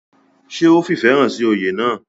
ṣé ó fìfẹ̀ hàn sí oyè náà?